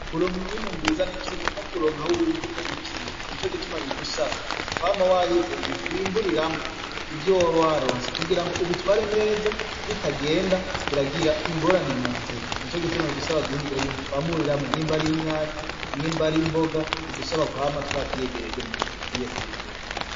Kuronka umwimi mbwizanikimwe no kuronka aho uwimburira n'ikindi ni co gituma bidusaba kwama wahize ibintu wimburiramwo ivyo waba waronse kugira ngo ubitware neza bitagenda biragira ingorane mu nzira ni co gituma bidusaba guhiga ibintu twamuriramwo n'imba ari 'inyanya n'imba ari imboga bidusaba kwama twa vyegereje mu gihe tugwiye kwimbura.